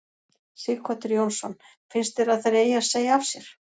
Sighvatur Jónsson: Finnst þér að þeir eigi að segja af sér?